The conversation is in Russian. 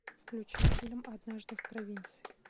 включи фильм однажды в провинции